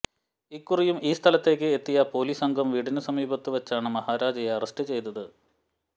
ഇക്കുറിയും ഈ സ്ഥലത്തേക്ക് എത്തിയ പൊലീസ് സംഘം വീടിന് സമീപത്ത് വച്ചാണ് മഹാരാജയെ അറസ്റ്റ് ചെയ്തത്